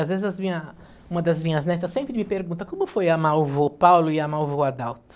Às vezes as minhas, uma das minhas netas sempre me pergunta, como foi amar o vô Paulo e amar o vô Adalto?